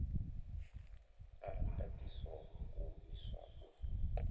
a ndaṱiso u iswa u